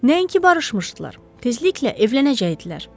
Nəinki barışmışdılar, tezliklə evlənəcəkdilər.